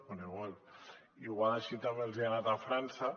bé potser així també els hi ha anat a frança